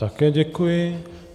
Také děkuji.